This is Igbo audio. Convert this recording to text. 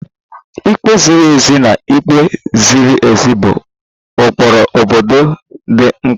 Ikpe ziri ezi na ikpe ziri ezi bụ ụkpụrụ obodo dị mkpa